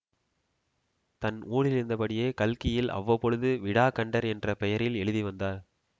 தன் ஊரிலிருந்தபடியே கல்கியில் அவ்வப்பொழுது விடாக்கண்டர் என்ற பெயரில் எழுதி வந்தார்